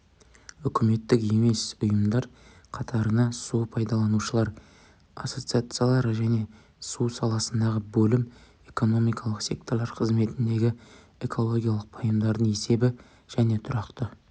үкіметтік емес ұйымдар қатарына су пайдалушылар ассоциациялары және су саласындағы бөлім экономикалық секторлар қызметіндегі экологиялық пайымдардың есебі және тұрақты